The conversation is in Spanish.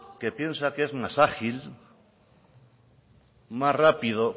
que piensa que es más ágil más rápido